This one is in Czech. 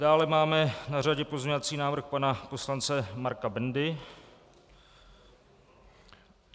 Dále mám na řadě pozměňovací návrh pana poslance Marka Bendy.